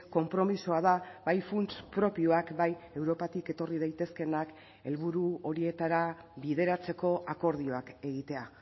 konpromisoa da bai funts propioak bai europatik etorri daitezkeenak helburu horietara bideratzeko akordioak egitea